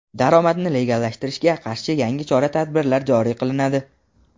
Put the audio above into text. Daromadni legallashtirishga qarshi yangi chora-tadbirlar joriy qilinadi.